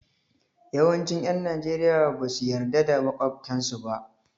Yawancin 'yan Najeriya ba su yarda da makwabtansu ba.